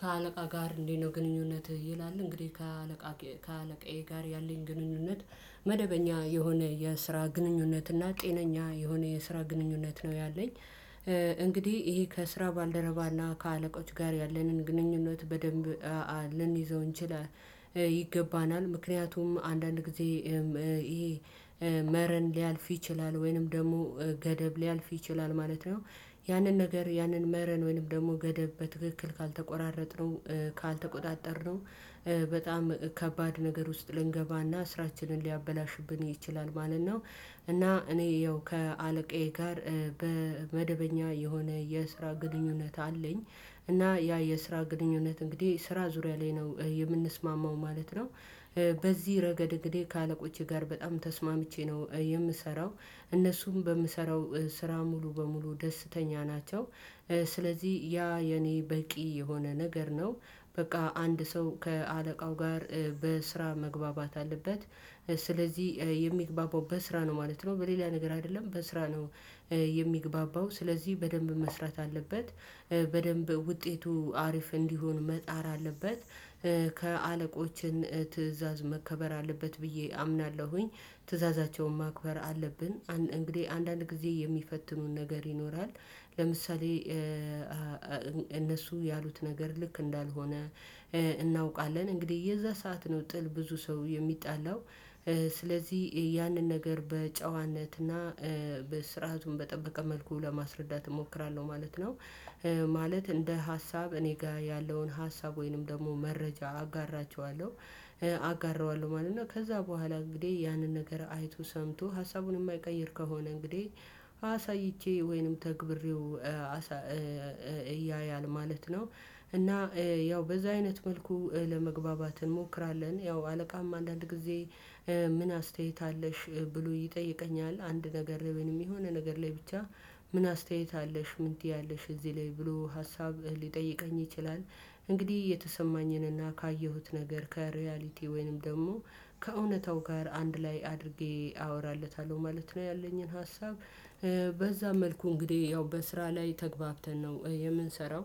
ከአለቃ ጋር እንዴት ነው? ግንኙነትህ ይላል እንግዲህ ከአለቃ ከአለቃዬ ጋር ያለኝ ግንኙነት መደበኛ የሆነ የስራ ግንኙነት እና ጤነኛ የሆነ የስራ ግንኙነት ነው ያለኝ። እንግዲህ ይሄ ከስራ ባልደረባና ከአለቆች ጋር ያለንን ግንኙነት በደንብ ልንይዘው እንችላል። ይገባናል ምክንያቱም አንዳንድ ጊዜ ይሄ መረን ሊያልፍ ይችላል ወይንም ደግሞ ገደብ ሊያልፍ ይችላል ማለት ነው። ያንን ነገር ያንን መረን ወይንም ደግሞ ገደብ በትክክል ካልተቆራረጥነው ካልተቆጣጠርነው በጣም ከባድ ነገር ውስጥ ልንገባና ስራችንን ሊያበላሽብን ይችላል ማለት ነው። እና እኔ ያው ከአለቃዬ ጋር በመደበኛ የሆነ የስራ ግንኙነት አለኝ። እና ያ የስራ ግንኙነት እንግዲህ ስራ ዙሪያ ላይ ነው የምንስማማው ማለት ነው። በዚህ ረገድ እንግዲህ ከአለቆቼ ጋር በጣም ተስማምቼ ነው የምሰራው እነሱም በምሰራው ስራ ሙሉ በሙሉ ደስተኛ ናቸው። ስለዚህ ያ የኔ በቂ የሆነ ነገር ነው። በቃ አንድ ሰው ከአለቃው ጋር በስራ መግባባት አለበት። ስለዚህ የሚግባባው በስራ ነው ማለት ነው በሌላ ነገር አደለም በስራ ነው። የሚግባባው ስለዚህ በደንብ መስራት አለበት። በደንብ ውጤቱ አሪፍ እንዲሆን መጣር አለበት። ከአለቆችን ትእዛዝ መከበር አለበት ብዬ አምናለሁኝ። ትእዛዛቸውን ማክበር አለብን። እንግዲህ አንዳንድ ጊዜ የሚፈትኑን ነገር ይኖራል። ለምሳሌ እነሱ ያሉት ነገር ልክ እንዳልሆነ። እናውቃለን እንግዲህ የዛ ሰዓት ነው ጥል ብዙ ሰው የሚጣላው። ስለዚህ ያንን ነገር በጨዋነትና በስርዓቱን በጠበቀ መልኩ ለማስረዳት እሞክራለሁ ማለት ነው። ማለት እንደ ሀሳብ እኔ ጋ ያለውን ሀሳብ ወይንም ደግሞ መረጃ አጋራቸዋለሁ። አጋራዋለሁ ማለት ነው። እና ከዛ በኋላ እንግዲህ ያንን ነገር አይቶ ሰምቶ ሀሳቡን የማይቀይር ከሆነ እንግዲህ አሳይቼ ወይንም ተግብሬው እያያል ማለት ነው። እና ያው በዛ አይነት መልኩ ለመግባባት እንሞክራለን። ያው አለቃም አንዳንድ ጊዜ ምን አስተያየት አለሽ? ብሎ ይጠይቀኛል አንድ ነገር ልብንም የሆነ ነገር ላይ ብቻ ምን አስተያየት አለሽ ምን ትያለሽ እዚህ ላይ ብሎ ሀሳብ ሊጠይቀኝ ይችላል። እንግዲህ የተሰማኝንና ካየሁት ነገር ከሪያሊቲ ወይንም ደግሞ ከእውነታው ጋር አንድ ላይ አድርጌ አወራለታለሁ ማለት ነው። ያለኝን ሀሳብ። በዛ መልኩ እንግዲህ ያው በስራ ላይ ተግባብተን ነው የምንሰራው።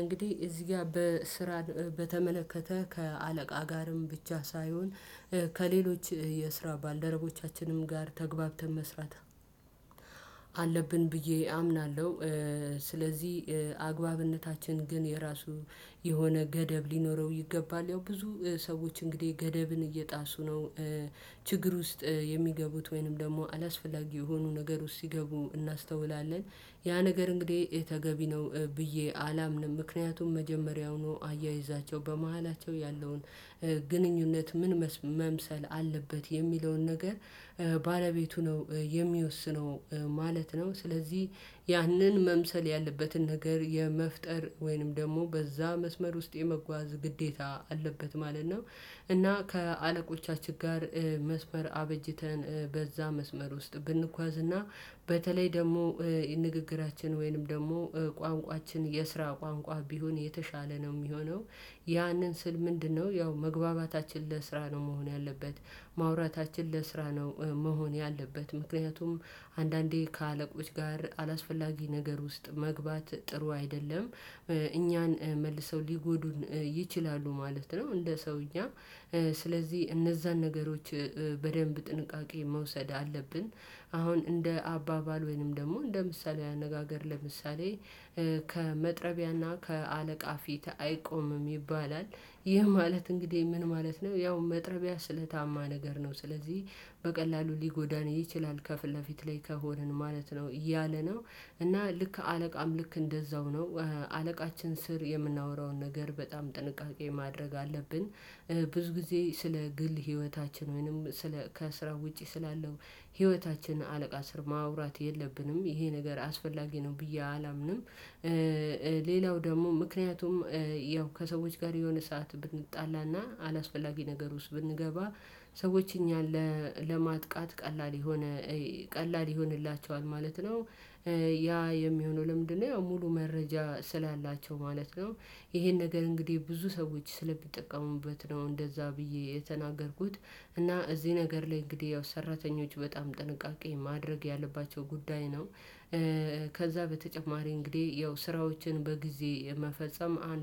እንግዲህ እዚህ ጋር በስራ በተመለከተ ከአለቃ ጋርም ብቻ ሳይሆን ከሌሎች የስራ ባልደረቦቻችንም ጋር ተግባብተን መስራት አለብን ብዬ አምናለሁ። ስለዚህ አግባብነታችን ግን የራሱ የሆነ ገደብ ሊኖረው ይገባል። ያው ብዙ ሰዎች እንግዲህ ገደብን እየጣሱ ነው ችግር ውስጥ የሚገቡት ወይንም ደግሞ አላስፈላጊ የሆኑ ነገር ውስጥ ሲገቡ እናስተውላለን። ያ ነገር እንግዲህ ተገቢ ነው ብዬ አላምንም። ምክንያቱም መጀመሪያውኑ አያይዛቸው በመሃላቸው ያለውን ግንኙነት ምን መስ መምሰል አለበት የሚለውን ነገር ባለቤቱ ነው የሚወስነው። ማለት ነው። ስለዚህ ያንን መምሰል ያለበትን ነገር የመፍጠር ወይንም ደግሞ በዛ መስመር ውስጥ የመጓዝ ግዴታ አለበት ማለት ነው። እና ከአለቆቻችን ጋር መስመር አበጅተን በዛ መስመር ውስጥ ብንጓዝ እና በተለይ ደሞ ንግግራችን ወይንም ደግሞ ቋንቋችን የስራ ቋንቋ ቢሆን የተሻለ ነው ሚሆነው። ያንን ስል ምንድነው? ያው መግባባታችን ለስራ ነው መሆን ያለበት። ማውራታችን ለስራ ነው። መሆን ያለበት ምክንያቱም አንዳንዴ ከአለቆች ጋር አላስፈላጊ ነገር ውስጥ መግባት ጥሩ አይደለም። እኛን መልሰው ሊጎዱን ይችላሉ ማለት ነው። እንደ ሰውኛ እነዛን ነገሮች በደንብ ጥንቃቄ መውሰድ አለብን። አሁን እንደ አባባል ወይንም ደግሞ እንደ ምሳሊያዊ አነጋገር ለምሳሌ ከመጥረቢያና ከአለቃ ፊት አይቆምም ይባላል። ይህ ማለት እንግዲህ ምን ማለት ነው? ያው መጥረቢያ ስለታማ ነገር ነው ስለዚህ በቀላሉ ሊጎዳን ይችላል ከፊት ለፊት ላይ ከሆንን ማለት ነው እያለ ነው። እና ልክ አለቃም ልክ እንደዛው ነው። አለቃችን ስር የምናወራውን ነገር በጣም ጥንቃቄ ማድረግ አለብን። ብዙ ጊዜ ስለ ግል ህይወታችን ወይንም ስለ ከስራ ውጪ ስላለው ህይወታችን አለቃ ስር ማውራት የለብንም ይሄ ነገር አስፈላጊ ነው ብዬ አላምንም። ሌላው ደግሞ ምክንያቱም ያው ከሰዎች ጋር የሆነ ሰዓት ብንጣላና አላስፈላጊ ነገር ውስጥ ብንገባ ሰዎች እኛን ለማጥቃት ቀላል ይሆን ቀላል ይሆንላቸዋል ማለት ነው። ያ የሚሆነው ለምንድነው? ሙሉ መረጃ ስላላቸው ማለት ነው። ይሄን ነገር እንግዲህ ብዙ ሰዎች ስለሚጠቀሙበት ነው እንደዛ ብዬ የተናገርኩት እና እዚህ ነገር ላይ እንግዲህ ያው ሰራተኞች በጣም ጥንቃቄ ማድረግ ያለባቸው ጉዳይ ነው። ከዛ በተጨማሪ እንግዲህ ያው ስራዎችን በጊዜ መፈጸም አንድ